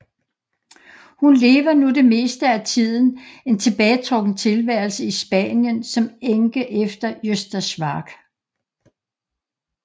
Hun lever nu det meste af tiden en tilbagetrukken tilværelse i Spanien som enke efter Gösta Schwarck